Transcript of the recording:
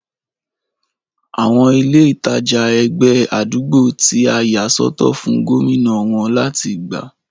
Àwọn ilé ìtajà ẹgbẹ́ àdúgbò tí a yà sọ́tọ̀ fún gómìnà wón láti gbà